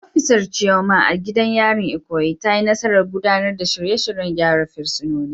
Jami’ar Chioma, a gidan yarin Ikoyi, ta yi nasarar gudanar da shirye-shiryen gyara fursunonin.